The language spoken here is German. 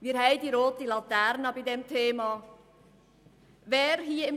Wir haben bei diesem Thema die rote Laterne.